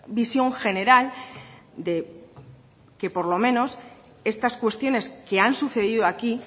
visión general de que por lo menos estas cuestiones que han sucedido aquí